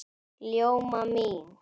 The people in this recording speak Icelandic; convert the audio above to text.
Ljóma mín!